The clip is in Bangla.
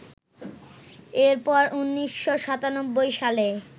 এরপর ১৯৯৭ সালে